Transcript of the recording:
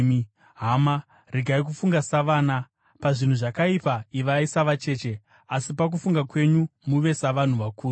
Hama, regai kufunga savana. Pazvinhu zvakaipa ivai savacheche, asi pakufunga kwenyu muve savanhu vakuru.